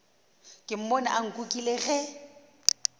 ke mmone a nkukile ge